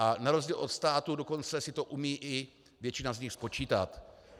A na rozdíl od státu dokonce si to umí i většina z nich spočítat.